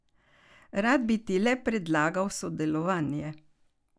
Rad bi ti le predlagal sodelovanje.